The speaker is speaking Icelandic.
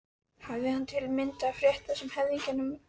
Hafi hann til að mynda frétt það af höfðingjum að